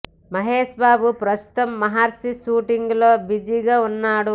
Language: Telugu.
మహేష్ బాబు ప్రస్తుతం మహర్షి షూటింగ్ లో బిజీగా ఉన్నాడు